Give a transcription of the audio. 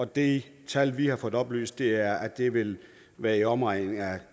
det tal vi har fået oplyst er at det vil være i omegnen af